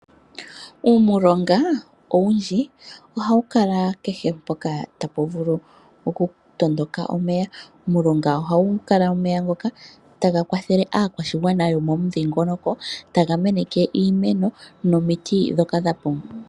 Uumulonga owundji ohawu kala kehe mpoka tapu vulu okutondoka omeya